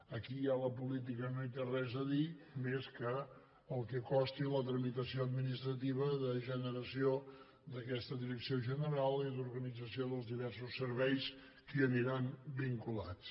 aquí ja la política no hi té res a dir més que el que costi la tramitació administrativa de generació d’aquesta direcció general i d’organització dels diversos serveis que hi aniran vinculats